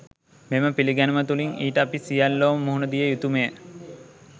මෙම පිළිගැනුම තුළින් ඊට අපි සියල්ලෝම මුහුණ දිය යුතුමය.